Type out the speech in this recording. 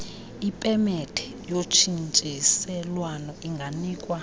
ipemethe yotshintshiselwano inganikwa